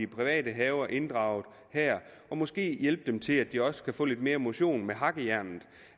private haver inddraget her og måske hjælpe dem til at de også kan få lidt mere motion med hakkejernet